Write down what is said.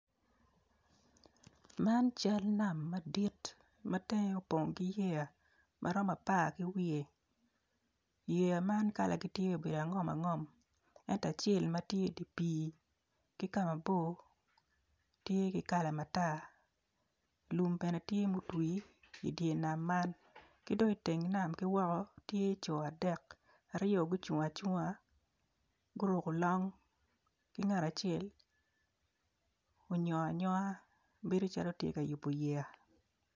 Man cal nam madit matenge opong ki yea maromo apar kiwiye yea man kala gi tye obedo angom angom ento acel matye i dipi kimabor tye ki kala matar lum bene tye mutwi i dyer nam man kidong kiteng nam kiwoko tye co adek aryo gucung acunga guruko long ki ngat acel onyongo anyonga bedo calo tye yubo yea.